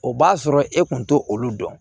O b'a sɔrɔ e kun t'o dɔn